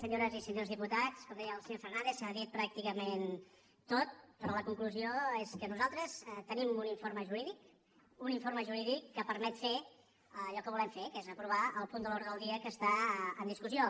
senyores i senyors diputats com deia el senyor fernàndez s’ha dit pràcticament tot però la conclusió és que nosaltres tenim un informe jurídic un informe jurídic que permet fer allò que volem fer que és aprovar el punt de l’ordre del dia que està en discussió